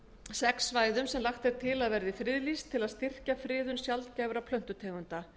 sex svæðum sem lagt er til að verði friðlýst til að styrkja friðun sjaldgæfra plöntutegunda